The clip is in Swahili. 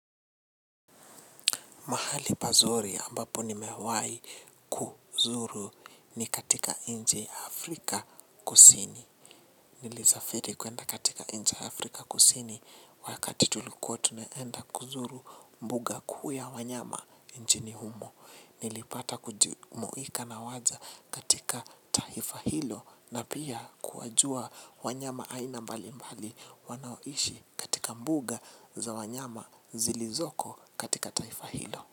Mahali pazuri ambapo nimewai kuzuru ni katika nchi Afrika kusini. Nilisafiri kuenda katika nchi Afrika kusini wakati tulikuwa tunaenda kuzuru mbuga kuu ya wanyama nchini humo. Nilipata kujumuika na waja katika taifa hilo na pia kuwajua wanyama aina mbali mbali wanaoishi katika mbuga za wanyama zilizoko katika taifa hilo.